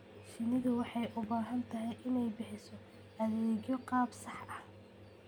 Shinnidu waxay u baahan tahay inay bixiso adeegyo qaab sax ah.